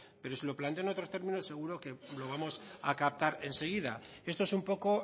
pero si lo planteo en otros términos seguro que lo vamos a captar enseguida esto es un poco